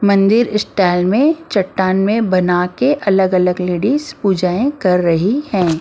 मंदिर स्टाइल में चट्टान में बना के अलग-अलग लेडीज पूजाएं कर रही हैं।